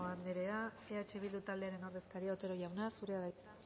andrea eh bildu taldearen ordezkaria otero jauna zurea da hitza